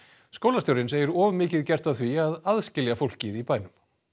skólastjórinn segir of mikið gert af því að aðskilja fólkið í bænum